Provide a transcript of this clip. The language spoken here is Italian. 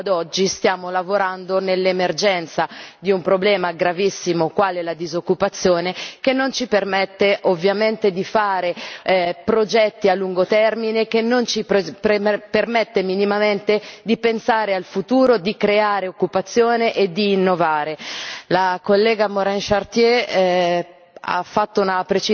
Perché noi purtroppo ad oggi stiamo lavorando nell'emergenza di un problema gravissimo, quale la disoccupazione, che non ci permette ovviamente di fare progetti a lungo termine, che non ci permette minimamente di pensare al futuro, di creare occupazione e di innovare. La collega Morin Chartier